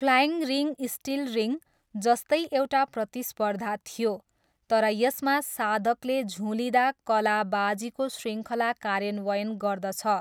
Flying ring still ring जस्तै एउटा प्रतिस्पर्धा थियो, तर यसमा साधकले झुलिँदा कलाबाजीको शृङ्खला कार्यान्वयन गर्दछ।